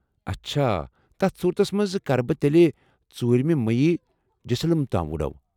اچھا... تتھ صوٗرتس منز ، كرٕ بہٕ تیٚلہ ژور مہِ مٔی جسلم تام وُڈو